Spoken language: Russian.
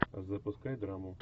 запускай драму